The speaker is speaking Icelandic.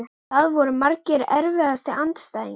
Það voru margir Erfiðasti andstæðingur?